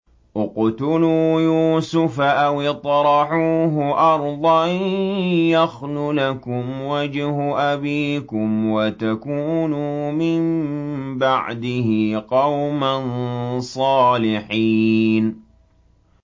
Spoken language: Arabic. اقْتُلُوا يُوسُفَ أَوِ اطْرَحُوهُ أَرْضًا يَخْلُ لَكُمْ وَجْهُ أَبِيكُمْ وَتَكُونُوا مِن بَعْدِهِ قَوْمًا صَالِحِينَ